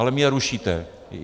Ale mě rušíte.